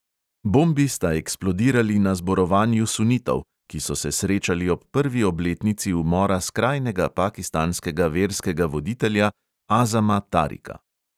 Bombi sta eksplodirali na zborovanju sunitov, ki so se srečali ob prvi obletnici umora skrajnega pakistanskega verskega voditelja azama tarika.